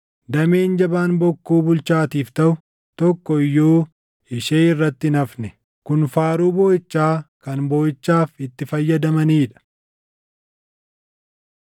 Damee ishee tokko keessaa ibiddi baʼee ija ishee fixe. Dameen jabaan bokkuu bulchaatiif taʼu tokko iyyuu ishee irratti hin hafne.’ Kun faaruu booʼichaa kan booʼichaaf itti fayyadamanii dha.”